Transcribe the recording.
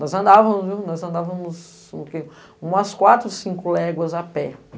Nós andávamos, viu?! Nós andávamos umas quatro, cinco léguas a pé.